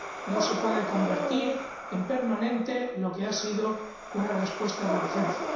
No se puede convertir en permanente lo que ha sido una respuesta de urgencia.